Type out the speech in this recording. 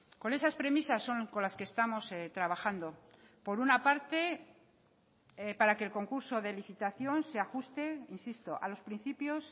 con esas premisas son con las que estamos trabajando por una parte para que el concurso de licitación se ajuste insisto a los principios